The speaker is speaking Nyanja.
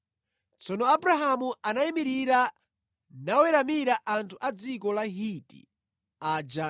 Tsono Abrahamu anayimirira naweramira anthu a dziko la Hiti aja